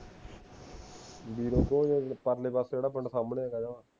ਬੀਰੋ ਕੇ ਪਰਲੇ ਪਾਸੇ ਜਿਹੜਾ ਪਿੰਡ ਸਾਮਣੇ ਹੈਗਾ ਜਵਾਂ